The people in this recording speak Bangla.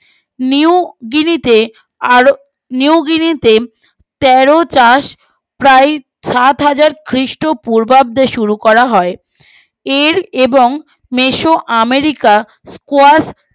নিউ গিরিতে আর নিউ গিরিতে চাষ প্রায় সাত হাজার খ্রীষ্ট পূর্বাব্দে শুরু করা হয় এর এবং মেসো আমেরিকা